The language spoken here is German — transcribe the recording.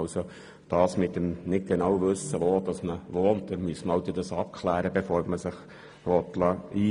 Wenn man nicht genau weiss, wo man wohnt, muss man das halt abklären.